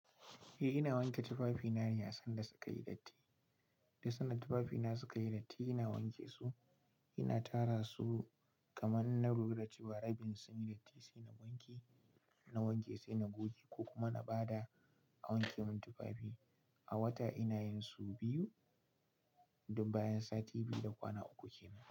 Eh ina wanke tufafi na yasin da suka yi datti. Duk sanda tufafi na sunyi datti ina wanke su, ina tara su kaman na lura da cewa sunyi dattinna wanke. In na wanke sai na goge ko kuma in bada a wanke mun tufafi. A wata ina yin sau biyu, duk bayan sati biyu da kwana uku kenan.